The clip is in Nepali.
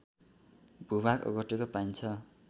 भूभाग ओगटेको पाइन्छ